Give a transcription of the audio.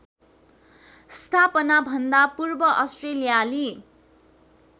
स्थापनाभन्दा पूर्व अस्ट्रेलियाली